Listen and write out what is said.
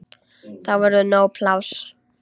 Þá verður nóg pláss.